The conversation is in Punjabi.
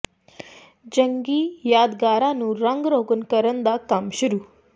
ਜੰਗੀ ਯਾਦਗਾਰਾਂ ਨੂੰ ਰੰਗ ਰੋਗਨ ਕਰਨ ਦਾ ਕੰਮ ਸ਼ੁਰੂ